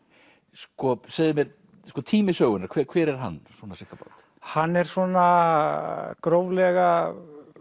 sko segðu mér tími sögunnar hver hver er hann svona ca hann er svona gróflega